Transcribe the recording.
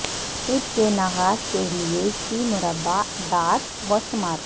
fit کے نفاذ کے لئے چی مربع اعداد و شمار